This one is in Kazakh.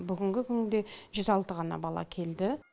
бүгінгі күнде жүз алты ғана бала келді